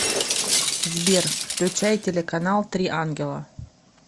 сбер включай телеканал три ангела